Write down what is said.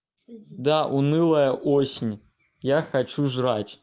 да унылая осень я хочу жрать